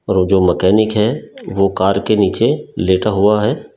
और जो मैकेनिक है वो कार के नीचे लेटा हुआ है।